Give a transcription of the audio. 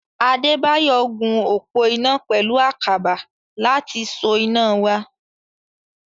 Adébáyọ̀ gun òpó iná pẹ̀lú àkàbà láti so iná wa.